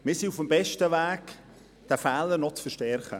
Wir sind auf dem besten Weg, diesen Fehler noch zu verstärken.